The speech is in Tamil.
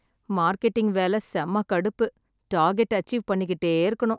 மார்க்கெட்டிங் வேலை செம கடுப்பு ! டார்கெட் அச்சீவ் பண்ணிக்கிட்டே இருக்கணும்.